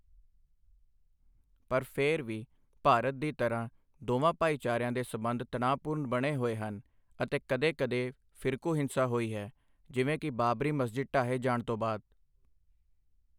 ਪਰ ਫਿਰ ਵੀ, ਭਾਰਤ ਦੀ ਤਰ੍ਹਾਂ, ਦੋਵਾਂ ਭਾਈਚਾਰਿਆਂ ਦੇ ਸਬੰਧ ਤਣਾਅਪੂਰਨ ਬਣੇ ਹੋਏ ਹਨ ਅਤੇ ਕਦੇ ਕਦੇ ਫਿਰਕੂ ਹਿੰਸਾ ਹੋਈ ਹੈ, ਜਿਵੇਂ ਕਿ ਬਾਬਰੀ ਮਸਜਿਦ ਢਾਹੇ ਜਾਣ ਤੋਂ ਬਾਅਦ।